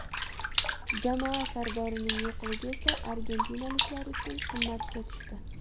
Jamoa sardorining yo‘qligi esa argentinaliklar uchun qimmatga tushdi.